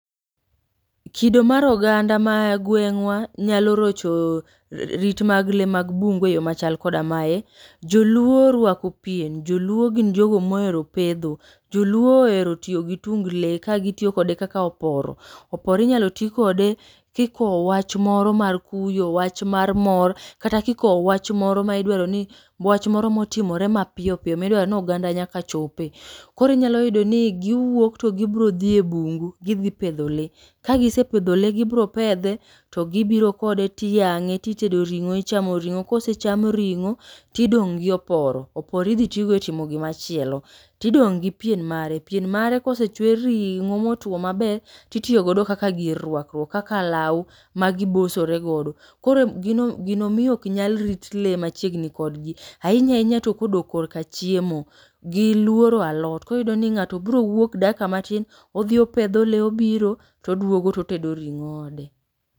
Kido mar oganda ma gweng'wa nyalo rocho rit mag le mag bungu e yo ma koda mae. Joluo orwako pien, joluo gin jogo mohero pedho, joluo ohero tiyo gi tung le ka gitiyo kode kaka oporo. Oporo inyalo ti kode kikowo wach moro mar kuyo, wach mar mor, kata kikowo wach moro ma idwaro ni wach moro motimore mapiyo piyo. Midwaro ni oganda nyaka chope. Koro inyalo yudo ni giwuok to gibro dhi e bungu, gidhi pedho le. Kagisepedho le gibro pedhe to gibro kode tiyang'e, titedo ring'o ichamo ring'o. Kosecham ring'o, tidong' gi oporo. Oporo idhi tigo e timo gima chielo. Tidong' gi pien mare, pien mare kosechwer ring'o motwo maber titiyogodo kaka gir rwakruok. Kaka lawuo ma gibosore godo, koro emo gino miyo ok nyal rit le machigni kodgi. Ahnya ahinya to kodok korka chiemo, giluoro alot. Koriyudo ni ng'ato biro wuok dakika matin, odhi opedho le obiro todwogo totedo ring'o ode.